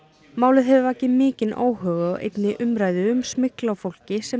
málið hefur vakið mikinn óhug og einnig umræðu um smygl á fólki sem